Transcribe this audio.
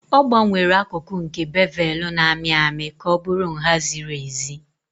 Ọ gbanwere akụkụ nke bevelu na-amị amị ka ọ bụrụ nha ziri ezi.